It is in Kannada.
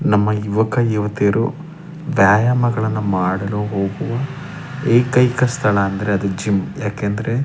ನಮ್ಮ ಯುವಕ ಯುವತಿಯರು ವ್ಯಾಯಾಮಗಳನ್ನು ಮಾಡಲು ಹೋಗುವ ಏಕೈಕ ಸ್ಥಳ ಅಂದ್ರೆ ಅದು ಜಿಮ್ಮ್ ಯಾಕೆ ಅಂದ್ರೆ --